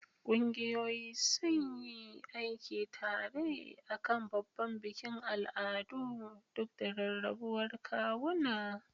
Ƙungiyoyi sun yi aiki tare a kan babban bikin al'adu duk da rarrabuwar kawuna.